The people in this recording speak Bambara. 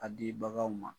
A di baganw ma